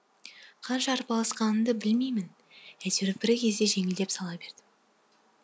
қанша арпалысқанымды білмеймін айтеуір бір кезде жеңілдеп сала бердім